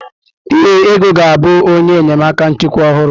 Ee, Ego ga-abụ onye enyemaka nchịkwa ọhụrụ.